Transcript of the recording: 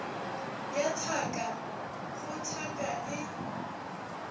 ya thaka go thaka e